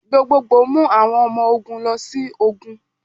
Gbogbogbo mu awọn ọmọ ogun lọ si ogun.